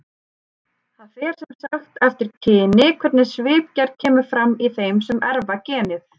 Það fer sem sagt eftir kyni hvernig svipgerð kemur fram í þeim sem erfa genið.